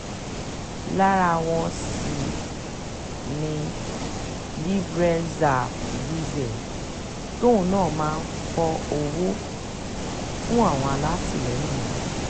lára wọn sì um ni libre zah zuhzeh tóun náà máa ń fọ owó um fún àwọn alátìlẹyìn rẹ̀